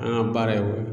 An ka baara ye o